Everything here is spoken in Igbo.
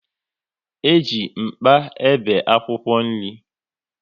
E ji mkpa e be akwụkwọ nri